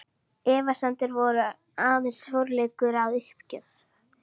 Efasemdir voru aðeins forleikur að uppgjöf.